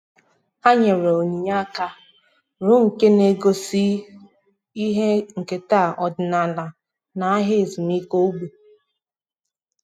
há nyèrè um onyinye áká rụọ nke um nà-égósípụ́ta ihe nkèta ọ́dị́nála ha n’áhị́à ezumike ógbè.